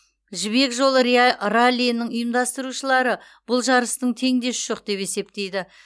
жібек жолы раллиінің ұйымдастырушылары бұл жарыстың теңдесі жоқ деп есептейді